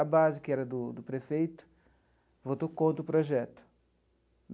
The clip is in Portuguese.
A base, que era do do prefeito, votou contra o projeto.